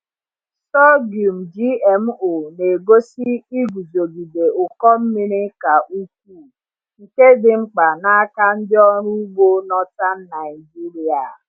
Sorghum GMO na-egosi iguzogide ụkọ mmiri ka ukwuu, nke dị mkpa n’aka ndị ọrụ ugbo Northern Naijiria.